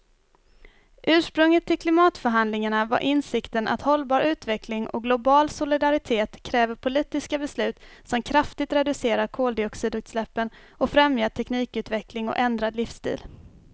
Ursprunget till klimatförhandlingarna var insikten att hållbar utveckling och global solidaritet kräver politiska beslut som kraftigt reducerar koldioxidutsläppen och främjar teknikutveckling och ändrad livsstil.